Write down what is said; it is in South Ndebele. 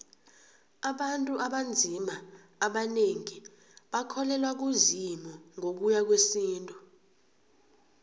abantu abanzima abanengi abakholelwa kuzimu ngokuya ngowesintu